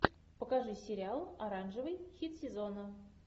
покажи сериал оранжевый хит сезона